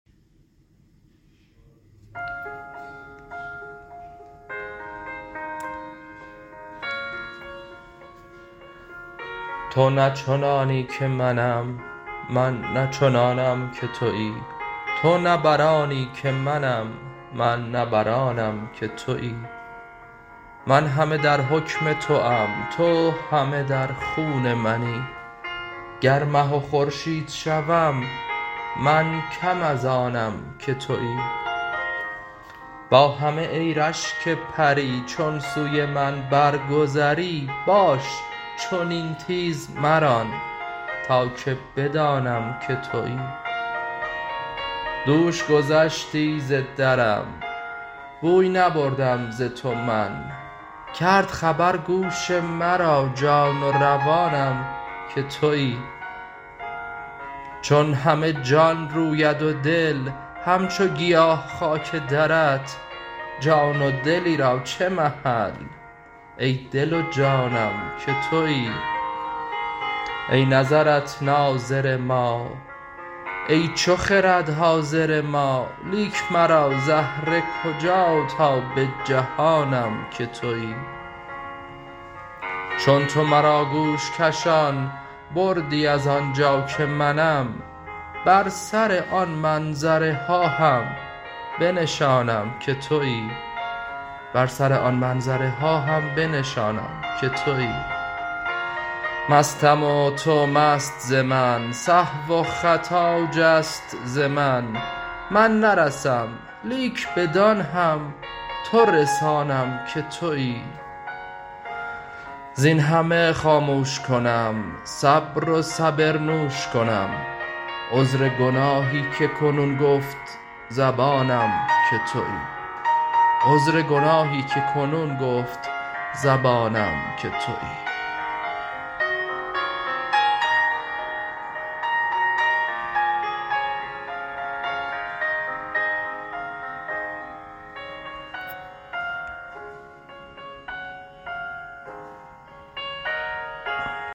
تو نه چنانی که منم من نه چنانم که تویی تو نه بر آنی که منم من نه بر آنم که تویی من همه در حکم توام تو همه در خون منی گر مه و خورشید شوم من کم از آنم که تویی با همه ای رشک پری چون سوی من برگذری باش چنین تیز مران تا که بدانم که تویی دوش گذشتی ز درم بوی نبردم ز تو من کرد خبر گوش مرا جان و روانم که تویی چون همه جان روید و دل همچو گیا خاک درت جان و دلی را چه محل ای دل و جانم که تویی ای نظرت ناظر ما ای چو خرد حاضر ما لیک مرا زهره کجا تا بجهانم که تویی چون تو مرا گوش کشان بردی از آن جا که منم بر سر آن منظره ها هم بنشانم که تویی مستم و تو مست ز من سهو و خطا جست ز من من نرسم لیک بدان هم تو رسانم که تویی زین همه خاموش کنم صبر و صبر نوش کنم عذر گناهی که کنون گفت زبانم که تویی